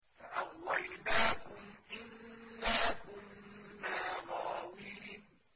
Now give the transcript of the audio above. فَأَغْوَيْنَاكُمْ إِنَّا كُنَّا غَاوِينَ